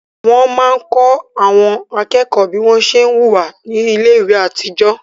Wọ́n máa ń kọ́ àwọn akẹ́kọ̀ọ́ bí wọ́n ṣé ń wùwá ní iléèwé àtijọ́